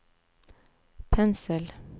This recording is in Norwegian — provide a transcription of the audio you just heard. pensel